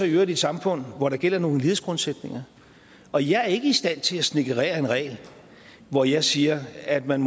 i øvrigt i et samfund hvor der gælder nogle lighedsgrundsætninger og jeg er ikke i stand til at snedkerere en regel hvor jeg siger at man